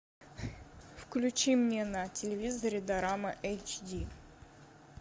включи мне на телевизоре дорама эйч ди